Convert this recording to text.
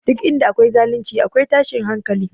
Duk inda akwai zalunci, akwai tashin hankali